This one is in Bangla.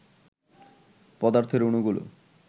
পদার্থের অণুগুলো